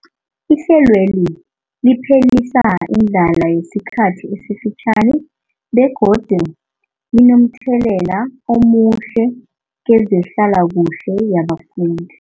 Ihlelweli liphelisa indlala yesikhathi esifitjhani begodu linomthelela omuhle kezehlalakuhle yabafundi.